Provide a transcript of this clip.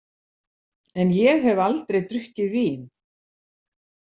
En ég hef aldrei drukkið vín.